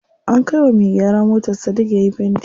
An kai wa me gyara motar Sadik yayi fenti.